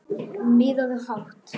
Miðaðu hátt